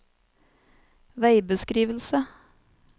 veibeskrivelse